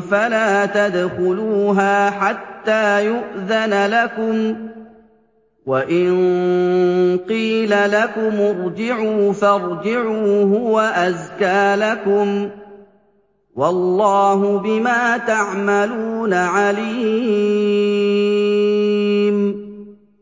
فَلَا تَدْخُلُوهَا حَتَّىٰ يُؤْذَنَ لَكُمْ ۖ وَإِن قِيلَ لَكُمُ ارْجِعُوا فَارْجِعُوا ۖ هُوَ أَزْكَىٰ لَكُمْ ۚ وَاللَّهُ بِمَا تَعْمَلُونَ عَلِيمٌ